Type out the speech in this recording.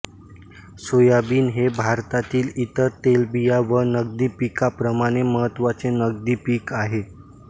soybean हे भारतातील इतर तेलबिया व नगदी पिकाप्रमाणे महत्त्वाचे नगदी पीक आहे